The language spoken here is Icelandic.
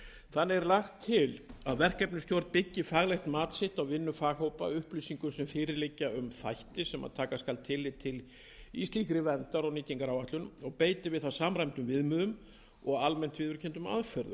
þannig er lagt til að verkefnisstjórn byggi faglegt mat sitt á vinnu faghópa á upplýsingum sem fyrir liggja um þætti sem taka skal tillit til í slíkri verndar og nýtingaráætlun og beiti við það samræmdum viðmiðum og almennt viðurkenndum aðferðum